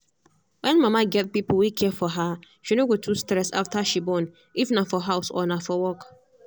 when mama get people wey care for her she no go too stress after she bornif na for house or na for work.